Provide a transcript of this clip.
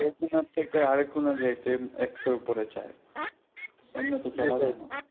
এক কোনার থেকে আরেক কোনা যাইতে একশোর উপরে চাই এমনে